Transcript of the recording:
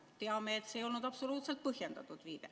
Teame, et see ei olnud absoluutselt põhjendatud viide.